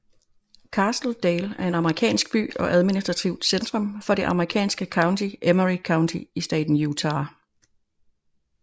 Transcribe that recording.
Castle Dale er en amerikansk by og administrativt centrum for det amerikanske county Emery County i staten Utah